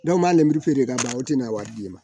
Dɔw m'a lenburu feere ka ban o tɛ na wari d'i ma